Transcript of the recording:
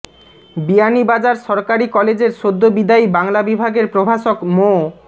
বিয়ানীবাজার সরকারি কলেজের সদ্য বিদায়ী বাংলা বিভাগের প্রভাষক মো